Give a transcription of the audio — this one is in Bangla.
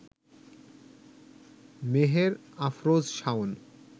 মেহের আফরোজ শাওন